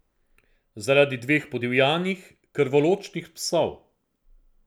Zaradi dveh podivjanih, krvoločnih psov.